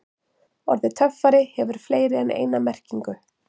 Orðið töffari hefur fleiri en eina merkingu.